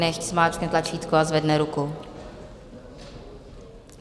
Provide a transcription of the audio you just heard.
Nechť zmáčkne tlačítko a zvedne ruku.